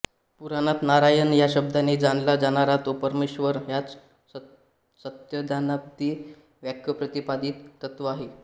पुराणांत नारायण या शब्दाने जाणला जाणारा जो परमेश्वर हाच सत्यज्ञानादि वाक्यप्रतिपादित तत्त्व आहे